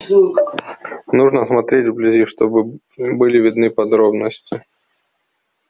нужно смотреть вблизи чтобы были видны подробности